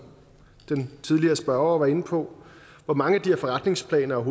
den tidligere spørger var inde på hvor mange af de her forretningsplaner er